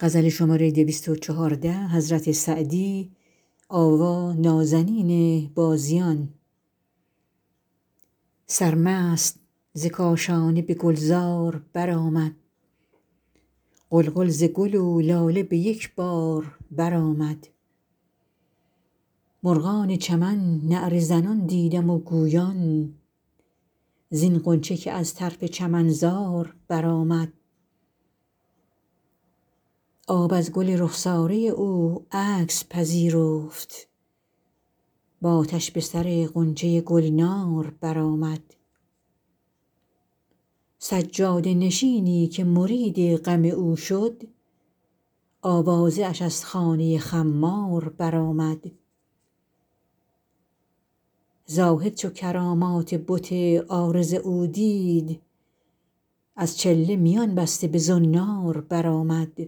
سرمست ز کاشانه به گلزار برآمد غلغل ز گل و لاله به یک بار برآمد مرغان چمن نعره زنان دیدم و گویان زین غنچه که از طرف چمنزار برآمد آب از گل رخساره او عکس پذیرفت و آتش به سر غنچه گلنار برآمد سجاده نشینی که مرید غم او شد آوازه اش از خانه خمار برآمد زاهد چو کرامات بت عارض او دید از چله میان بسته به زنار برآمد بر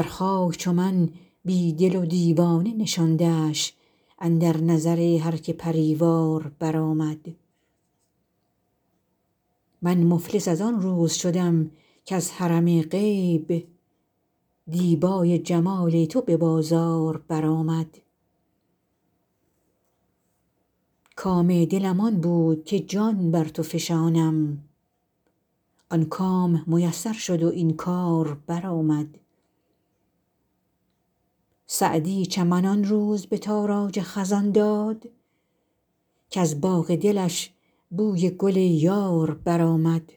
خاک چو من بی دل و دیوانه نشاندش اندر نظر هر که پری وار برآمد من مفلس از آن روز شدم کز حرم غیب دیبای جمال تو به بازار برآمد کام دلم آن بود که جان بر تو فشانم آن کام میسر شد و این کار برآمد سعدی چمن آن روز به تاراج خزان داد کز باغ دلش بوی گل یار برآمد